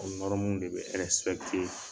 O de be